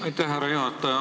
Aitäh, härra juhataja!